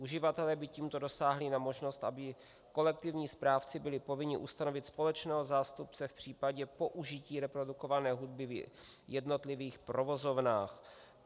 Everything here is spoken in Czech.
Uživatelé by tímto dosáhli na možnost, aby kolektivní správci byli povinni ustanovit společného zástupce v případě použití reprodukované hudby v jednotlivých provozovnách.